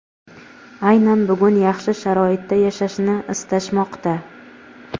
aynan bugun yaxshi sharoitda yashashni istashmoqda.